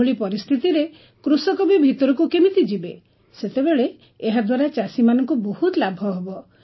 ଏଭଳି ପରିସ୍ଥିତିରେ କୃଷକ ବି ଭିତରକୁ କେମିତି ଯିବେ ସେତେବେଳେ ଏହାଦ୍ୱାରା ଚାଷୀମାନଙ୍କୁ ବହୁତ ଲାଭ ହେବ